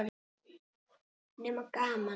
Nema gaman.